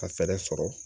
Ka fɛɛrɛ sɔrɔ